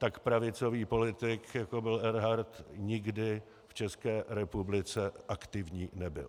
Tak pravicový politik, jako byl Erhardt, nikdy v České republice aktivní nebyl.